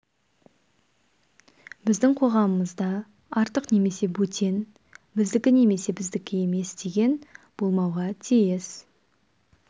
біздің қоғамымызда артық немесе бөтен біздікі немесе біздікі емес деген болмауға тиіс